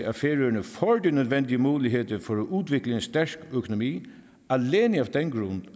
at færøerne får de nødvendige muligheder for at udvikle en stærk økonomi alene af den